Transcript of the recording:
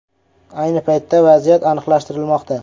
Ayni paytda vaziyat aniqlashtirilmoqda.